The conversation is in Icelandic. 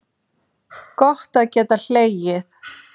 Gott að geta hlegið.